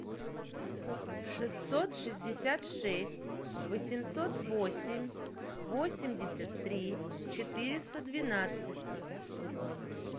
шестьсот шестьдесят шесть восемьсот восемь восемьдесят три четыреста двенадцать